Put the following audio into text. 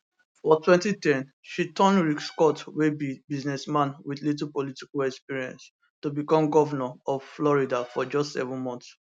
for 2010 she turn rick scott wey be businessman wit little political experience to become govnor of florida for just seven months